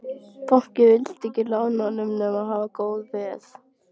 Bankinn vildi ekki lána honum nema hafa góð veð.